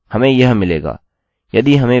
हमें यह मिलेगा